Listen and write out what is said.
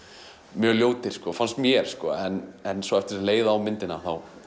mjög ljótir finnst mér en svo eftir því sem leið á myndina